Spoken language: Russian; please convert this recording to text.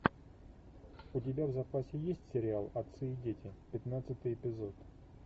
у тебя в запасе есть сериал отцы и дети пятнадцатый эпизод